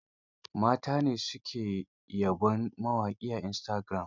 Mata ne su ke yawan yabon mawaƙa a istagiram.